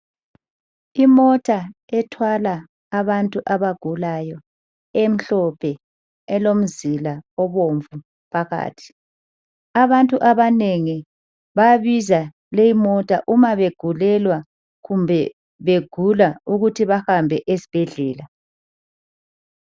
Imota ethwala abantu abagulayo emhlophe elomzila obomvu phakathi, abantu abanengi babiza lemota uma begulelwa kumbe begula ukuthi bahambe esibhedlela.